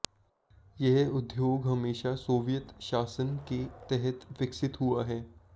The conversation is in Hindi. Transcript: यह उद्योग हमेशा सोवियत शासन के तहत विकसित हुआ है